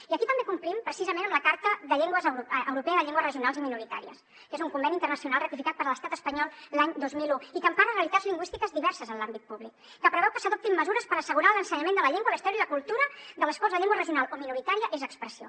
i aquí també complim precisament amb la carta europea de les llengües regionals o minoritàries que és un conveni internacional ratificat per l’estat espanyol l’any dos mil un i que empara realitats lingüístiques diverses en l’àmbit públic que preveu que s’adoptin mesures per assegurar l’ensenyament de la llengua la història i la cultura de les quals la llengua regional o minoritària és expressió